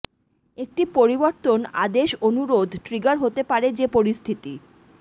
একটি পরিবর্তন আদেশ অনুরোধ ট্রিগার হতে পারে যে পরিস্থিতি